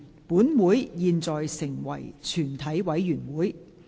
本會現在成為全體委員會。